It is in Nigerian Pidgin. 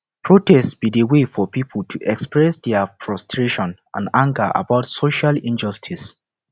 protest be di way for people to express dia frustration and anger about social injustices